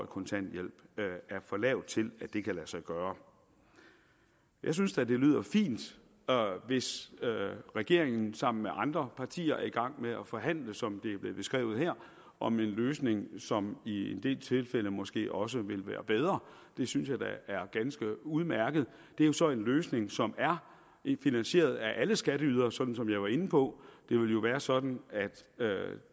kontanthjælp er for lavt til at det kan lade sig gøre jeg synes da det lyder fint hvis regeringen sammen med andre partier er i gang med at forhandle som det er blevet beskrevet her om en løsning som i en del tilfælde måske også vil være bedre det synes jeg da er ganske udmærket det er jo så en løsning som er finansieret af alle skatteydere som jeg var inde på det vil jo være sådan at